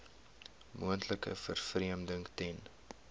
moontlike vervreemding ten